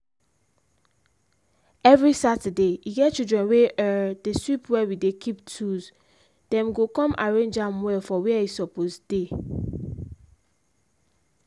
every saturday e get children wey um dey sweep were we dey keep toolsthem go com arrange am well for were e suppose dey.